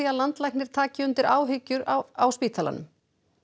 að landlæknir taki undir áhyggjur á spítalanum